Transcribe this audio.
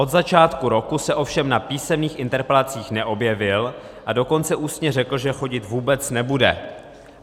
Od začátku roku se ovšem na písemných interpelacích neobjevil, a dokonce ústně řekl, že chodit vůbec nebude.